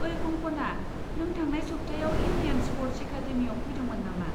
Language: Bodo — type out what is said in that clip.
ओइ कंक'ना, नों थांनाय सप्तायाव इन्डियान स्प'र्ट्स एकादेमिआव फैदोंमोन नामा?